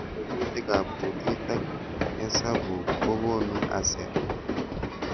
Tiemutik ab kutit ak hesabuk ko konu ASER